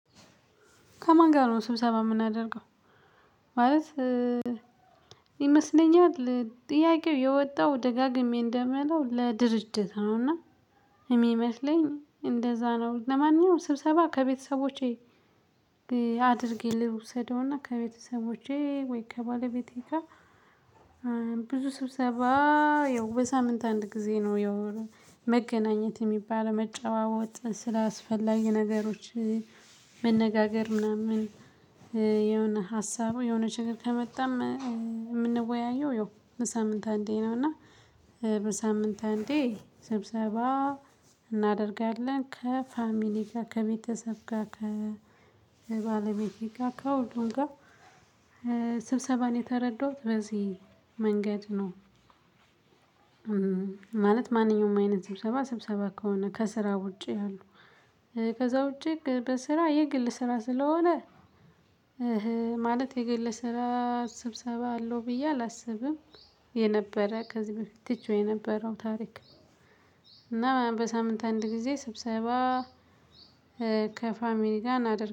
ከማን ጋር ነው ስብሰባ የምናደርገው? ማለት ይመስለኛል ጥያቄው የወጣው ደጋግሜ እንደምለው ለድርጅትነውና የሚመስለኝ እንደዛ ነው። ለማነኛውም ስብሰባ ከቤተሰቦቼ አድርጌ ልውሰደውና ከቤተሰቦቼ ወይ ከባለቤቴ ጋር። ብዙ ሰብሰባ ያው በሳምንት አንድ ጊዜ ነው ያው መገናኘት የሚባል መጨዋወት ስለአስፈላጊ ነገሮች መነጋገር ምናምን የሆነ ሀሳቡ የሆነ ችግር ከመጣም። የምንወያየው በሳምንት አንዴ ነው። እና በሳምንት አንዴ ስብሰባ እናደርጋለን ከፋሚሊ ጋር ከቤተሰብ ጋር ከባለቤቴ ጋር ከሁሉም ጋር። ስብሰባን የተረዳሁት በዚህ መንገድ ነው። ማለት ማንኛውም አይነት ስብሰባ ስብሰባ ከሆነ ከስራ ውጪ ያሉ ከዛ ውጪ በስራ የግል ስራ ስለሆነ ማለት የግለ ስራ ስብሰባ አለው ብዬ አላስብም። የነበረ ከዚህ በፊት ትቼው የነበረው ታሪክ። እና በሳምንት አንድ ጊዜ ስብሰባ ከፋሚሊጋ እናድርግ